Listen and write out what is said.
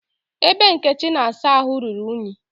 Ebe Nkechi na-asa ahụ ruru iyi